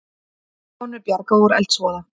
Konu bjargað úr eldsvoða